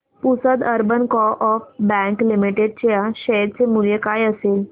Pusad urban co-op bank limited च्या share चे मूल्य काय असेल